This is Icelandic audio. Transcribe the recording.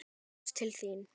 Knús til þín.